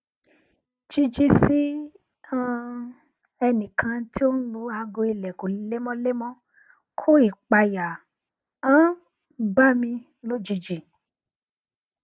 jiji si um ẹnikan ti o n lu aago ilẹkun lemọlemọ ko ipaya um ba mi lonii